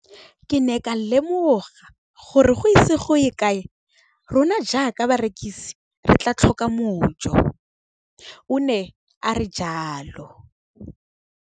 Ke ne ka lemoga gore go ise go ye kae rona jaaka barekise re tla tlhoka mojo, o ne a re jalo.